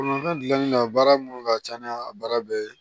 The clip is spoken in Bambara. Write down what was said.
Bolimafɛn dilanni na baara minnu ka ca ni a baara bɛɛ ye